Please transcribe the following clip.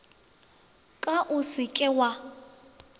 ka o se ke wa